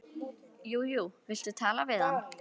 Jú jú, viltu tala við hann?